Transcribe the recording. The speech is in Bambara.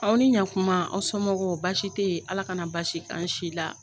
Aw ni ɲankuma aw sɔnmɔgɔw baasi tɛ ye Ala ka na baasi k'aw si la.